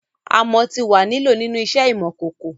Amọ ti wà ni lọ̀ ninu iṣẹ imọ-kọkọ